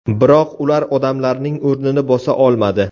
Biroq ular odamlarning o‘rnini bosa olmadi.